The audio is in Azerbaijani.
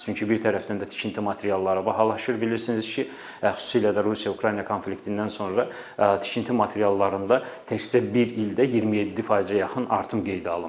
Çünki bir tərəfdən də tikinti materialları bahalaşır bilirsiniz ki, xüsusilə də Rusiya-Ukrayna konfliktindən sonra tikinti materiallarında təkcə bir ildə 27%-ə yaxın artım qeydə alınmışdı.